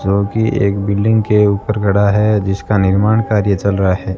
जो कि एक बिल्डिंग के ऊपर खड़ा है जिसका निर्माण कार्य चल रहा है।